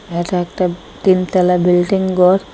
এটা একটা তিন তলা বিল্ডিং গর ।